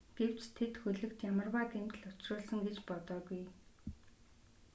гэвч тэд хөлөгт ямарваа гэмтэл учруулсан гэж бодоогүй